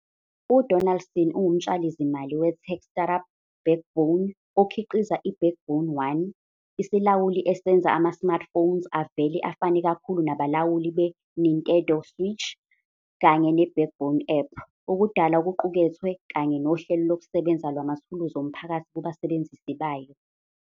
UDonaldson ungumtshali-zimali we-tech startup Backbone okhiqiza i-Backbone One, isilawuli esenza ama-smartphones avele afane kakhulu nabalawuli beNintendo switchch, kanye ne-Backbone app, ukudala okuqukethwe kanye nohlelo lokusebenza lwamathuluzi omphakathi kubasebenzisi bayo